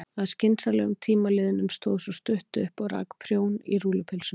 Að skynsamlegum tíma liðnum stóð sú stutta upp og rak prjón í rúllupylsuna.